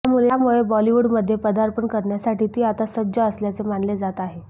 त्यामुळे बॉलिवूडमध्ये पदार्पण करण्यासाठी ती आता सज्ज असल्याचे मानले जात आहे